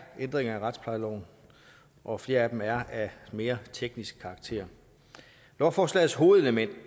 ændringer i retsplejeloven og flere af dem er af mere teknisk karakter lovforslagets hovedelement